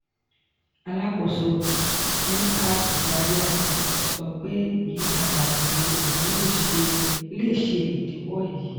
alakoso ncat zaria sọ pe iyipada eto imulo le ṣe idiwọ eyi.